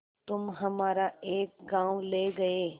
तुम हमारा एक गॉँव ले गये